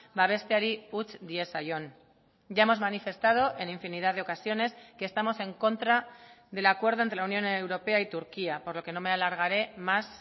babesteari utz diezaion ya hemos manifestado en infinidad de ocasiones que estamos en contra del acuerdo de la unión europea y turquía por lo que no me alargaré más